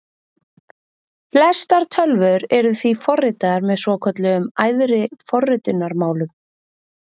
Flestar tölvur eru því forritaðar með svokölluðum æðri forritunarmálum.